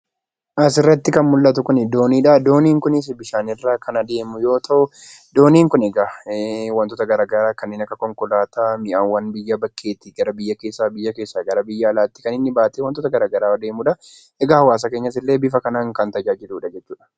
Asirratti kan mul'atu doonidha. Dooniin kunis bishaanirra kan adeemu yemmuu ta'u, dooniin kun egaa wantoota gara garaa kanneen akka konkolaataa, mi'awwa biyya bakkeeti gara biyya keessaa gara biyya alaatti kan inni baatee wantoota garaagaraa deemudha. Egaa hawaasa keenyas bifa kanaan kan tajaajiludha jechuudha.